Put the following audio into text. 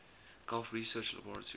gulf research laboratories